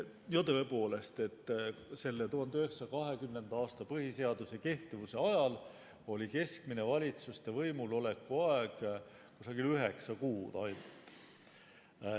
Tõepoolest, selle 1920. aasta põhiseaduse kehtivuse ajal oli keskmine valitsuste võimuloleku aeg ainult üheksa kuud.